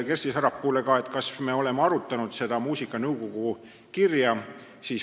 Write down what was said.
Kersti Sarapuult küsiti ka, kas me oleme arutanud muusikanõukogu kirja.